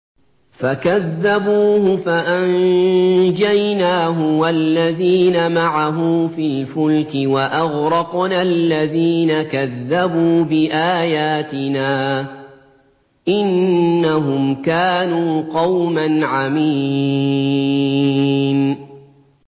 فَكَذَّبُوهُ فَأَنجَيْنَاهُ وَالَّذِينَ مَعَهُ فِي الْفُلْكِ وَأَغْرَقْنَا الَّذِينَ كَذَّبُوا بِآيَاتِنَا ۚ إِنَّهُمْ كَانُوا قَوْمًا عَمِينَ